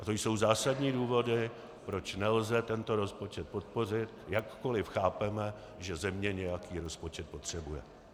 A to jsou zásadní důvody, proč nelze tento rozpočet podpořit, jakkoliv chápeme, že země nějaký rozpočet potřebuje.